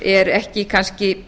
er ekki kannski